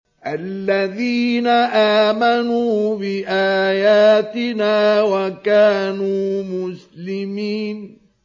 الَّذِينَ آمَنُوا بِآيَاتِنَا وَكَانُوا مُسْلِمِينَ